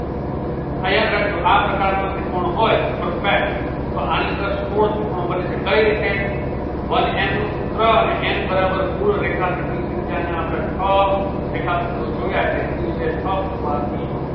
આ યાદ રાખજો આ પ્રકારનો ત્રિકોણ હોય perfect તો આની અંદર સોળ ત્રિકોણ બને છે કઈ રીતે? one n નું સૂત્ર અને n બરાબર કુલ રેખાખંડ ની સંખ્યા અહિયાં આપણે છ રેખાખંડો જોયા એટલે n ની જગ્યાએ છ મુકવાથી